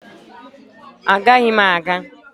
Agaghị m aga